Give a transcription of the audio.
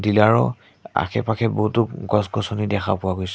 ইয়াৰো আশে-পাশে বহুতো গছ-গছনি দেখা পোৱা গৈছে।